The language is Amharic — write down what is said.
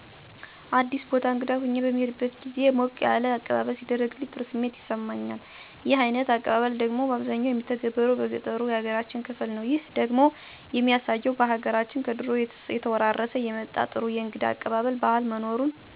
አዲስ ቦታ እንግዳ ሁኘ በምሄድበት ግዜ ሞቅ ያለ አቀባበለሌ ሲደረግልኝ ጥሩ ስሜት ይሰማኛል። ይህ አይነት አቀባበል ደግሞ ባብዛኛው የሚተገበረው በገጠሩ ያገራችን ክፍል ነው። ይህ ደግሞ የሚያሳየው በሀገራችን ከድሮ እየተወራረሠ የመጣ ጥሩ የእንግዳ አቀባበል ባህል መኖሩን ሥለሚያሣይ እኔም እደዚህ ባለ መልኩ ሲቀበሉኝ ባገራችን ባህል ደስታ ይሠማኝ እና እኔም ወደፊት ይህን መልካም ባህል ተቀብየ ለሌሎችም ለማሥተላለፍ አስባለሁ ማለት ነው።